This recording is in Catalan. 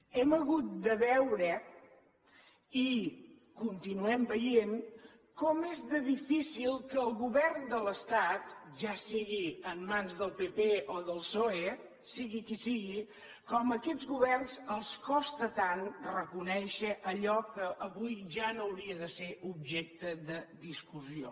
hem hagut de veure i continuem veient com és de difícil que el govern de l’estat ja sigui en mans del pp o del psoe sigui qui sigui com a aquests governs els costa tant reconèixer allò que avui ja no hauria de ser objecte de discussió